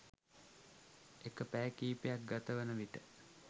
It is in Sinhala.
එක පැය කිහිපයක් ගතවන විට